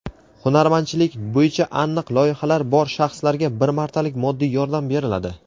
hunardmandchilik bo‘yicha aniq loyihalari bor shaxslarga bir martalik moddiy yordam beriladi.